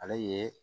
Ale ye